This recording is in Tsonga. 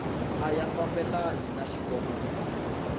a ya fambelani na xikongomelo